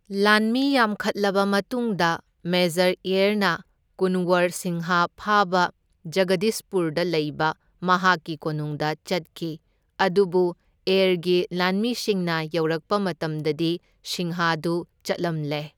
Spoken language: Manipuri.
ꯂꯥꯟꯃꯤ ꯌꯥꯝꯈꯠꯂꯕ ꯃꯇꯨꯡꯗ ꯃꯦꯖꯔ ꯑꯦꯔꯅ ꯀꯨꯟꯋꯔ ꯁꯤꯡꯍ ꯐꯥꯕ ꯖꯒꯗꯤꯁꯄꯨꯔꯗ ꯂꯩꯕ ꯃꯍꯥꯛꯀꯤ ꯀꯣꯅꯨꯡꯗ ꯆꯠꯈꯤ, ꯑꯗꯨꯕꯨ ꯑꯦꯔꯒꯤ ꯂꯥꯟꯃꯤꯁꯤꯡꯅ ꯌꯧꯔꯛꯄ ꯃꯇꯝꯗꯗꯤ ꯁꯤꯡꯍꯗꯨ ꯆꯠꯂꯝꯂꯦ꯫